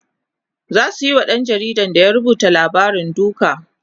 zasu Yi wa ɗan jaridan da ya rubuta labarin duka